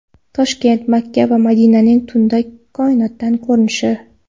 Toshkent, Makka va Madinaning tunda koinotdan ko‘rinishi .